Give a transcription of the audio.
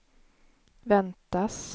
väntas